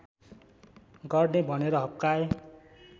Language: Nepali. गर्ने भनेर हप्काए